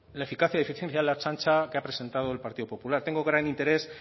la eficacia y eficiencia de la ertzaintza que ha presentado el partido popular tengo gran interés